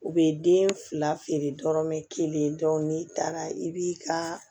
U bɛ den fila feere dɔrɔmɛ kelen n'i taara i b'i ka